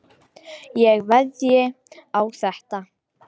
Ég veðjaði á þetta.